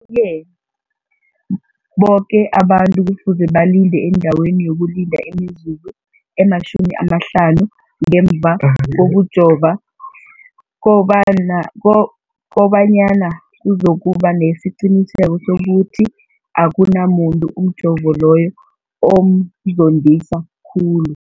ke boke abantu kufuze balinde endaweni yokulinda imizuzu eli-15 ngemva kokujova, koba nyana kuzokuba nesiqiniseko sokuthi akunamuntu umjovo loyo omzondisa khulu.